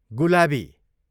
गुलाबी